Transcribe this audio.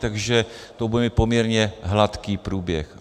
Takže to bude mít poměrně hladký průběh.